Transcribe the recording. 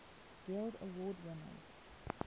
guild award winners